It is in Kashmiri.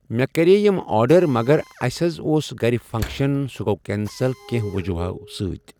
مےٚ کریے یِم آڈر مگر اسہِ حظ اوس گرِ فنٚکشن سُہ گوٚو کینسل کینٛہہ وجہو سۭتۍ۔